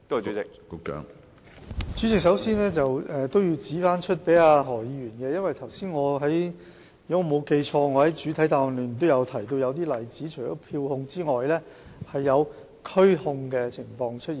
主席，首先，我要向何議員指出，如果我沒有記錯，我在主體答覆中也提到一些例子，除了票控之外，也有拘控的情況。